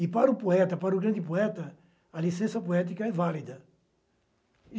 E, para o poeta, para o grande poeta, a licença poética é válida.